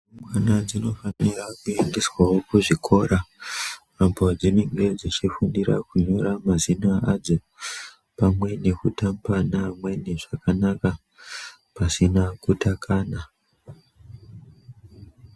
Rumbwana dzinofanirwa kuendeswa wo kuzvikora kwadzi nenge dzichifundira kunyora mazina adzo pamwe nekutamba neamweni zvakanaka pasina kutakana.